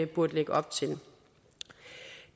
burde lægge op til